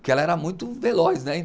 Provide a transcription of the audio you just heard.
Porque ela era muito veloz, né?